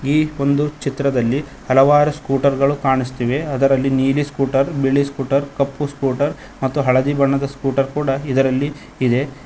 ಈ ಒಂದು ಚಿತ್ರದಲ್ಲಿ ಹಲವಾರು ಸ್ಕೂಟರ್ ಗಳು ಕಾಣಿಸ್ತಿವೆ ಅದರಲ್ಲಿ ನೀಲಿ ಸ್ಕೂಟರ್ ಬಿಳಿ ಸ್ಕೂಟರ್ ಕಪ್ಪು ಸ್ಕೂಟರ್ ಮತ್ತು ಹಳದಿ ಬಣ್ಣದ ಸ್ಕೂಟರ್ ಕೂಡ ಇದರಲ್ಲಿ ಇದೆ.